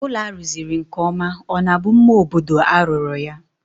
Ụlọ a rụziri nkeọma ọ na-bụ mma obodo a rụrụ ya?